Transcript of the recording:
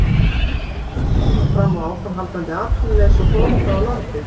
Eða erum við að horfa fram á áframhaldandi atvinnuleysi og flótta úr landi?